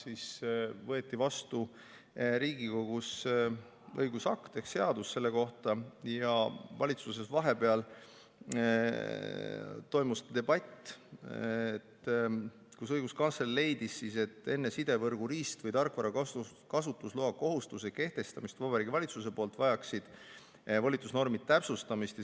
Siis võeti vastu Riigikogus õigusakt ehk seadus ja valitsuses toimus vahepeal debatt, kus õiguskantsler leidis, et enne sidevõrgu riist- või tarkvara kasutusloakohustuse kehtestamist Vabariigi Valitsuse poolt vajaksid volitusnormid täpsustamist.